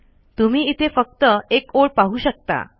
तुम्ही इथे फक्त एक ओळ पाहू शकता